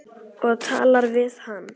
Og talar við hann.